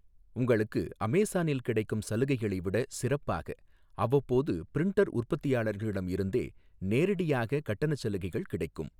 உங்களுக்கு அமேசானில் கிடைக்கும் சலுகைகளை விடச் சிறப்பாக, அவ்வப்போது பிரிண்டர் உற்பத்தியாளரிடம் இருந்தே நேரடியாகக் கட்டணச் சலுகைகள் கிடைக்கும்.